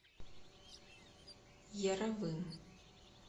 яровым